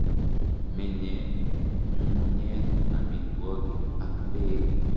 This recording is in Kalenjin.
Menye ng'ung'unyek, amitwogik ak peek.